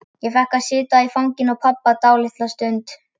Ég fékk að sitja í fanginu á pabba dálitla stund.